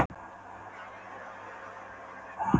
Mannvinur með ópíum handa fólkinu, svaraði Ormur hæðnislega.